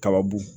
Kababu